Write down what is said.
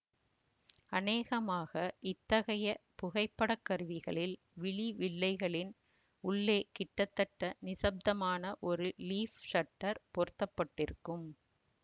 அநேகமாக இத்தகைய புகைப்படக் கருவிகளில் விழி வில்லைகளின் உள்ளே கிட்டத்தட்டநிசப்தமான ஒரு லீஃப் ஷட்டர் பொருத்த பட்டிருக்கும்